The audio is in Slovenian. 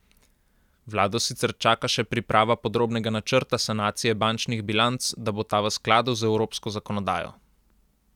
Vlado sicer čaka še priprava podrobnega načrta sanacije bančnih bilanc, da bo ta v sladu z evropsko zakonodajo.